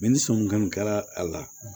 ni somi kɔni kɛra a la